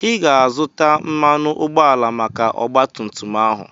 Ị ga-azụta mmanụ ụgbọala maka ọgba tum tum ahụ.